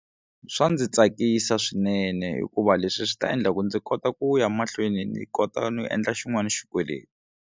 Swa ndzi tsakisa swinene hikuva leswi swi ta endla ku ndzi kota ku ya mahlweni ni kota no endla xin'wana xikweleti.